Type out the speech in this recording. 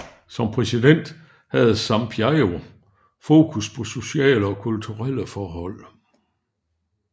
Som præsident havde Sampaio fokus på sociale og kulturelle forhold